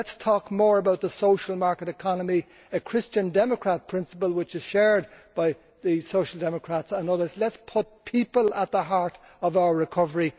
Let us talk more about the social market economy, a Christian Democrat principle which is shared by the Social Democrats and others, and let us put people at the heart of our recovery.